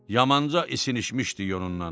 Yamanca isinişmişdik onunla.